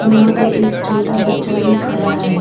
यहां पे एक छोटा बच्चा भी खड़ा है।